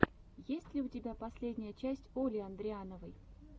есть ли у тебя последняя часть оли андриановой